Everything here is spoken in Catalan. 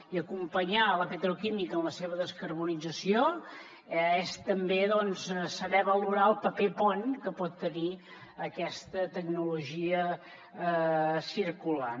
i acompanyar la petroquímica en la seva descarbonització és també saber valorar el paper pont que pot tenir aquesta tecnologia circular